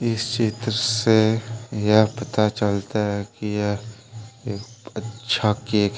इस चित्र से यह पता चलता है कि यह एक अच्छा केक है।